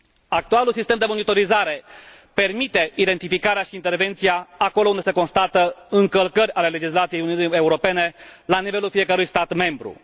Actualul sistem de monitorizare permite identificarea și intervenția acolo unde se constată încălcări ale legislației Uniunii Europene la nivelul fiecărui stat membru.